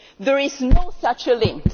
There is no such link.